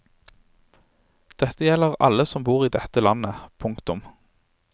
Dette gjelder alle som bor i dette landet. punktum